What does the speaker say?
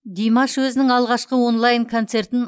димаш өзінің алғашқы онлайн концертін